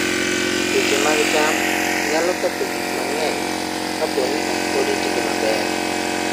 Tuoche mag cham nyalo ketho gik mang'eny kapo ni ok oritgi maber.